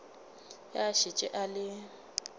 ge a šetše a le